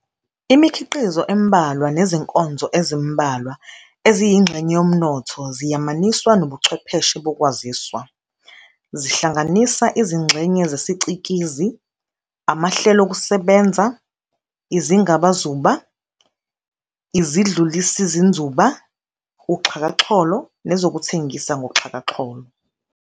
Imikhiqizo embalwa nezinkonzo ezimbalwa eziyingxenye yomnotho ziyamaniswa nobuchwepheshe bokwaziswa, zihlanganisa izingxenye zesicikizi, amahlelokusebenza, izingabazuba, izidlulisinzuba, uxhakaxholo, nezokuthengisa ngoxhakaxholo.